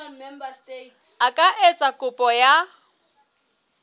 a ka etsa kopo ya